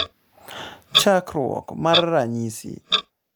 chakruok mar ranyisi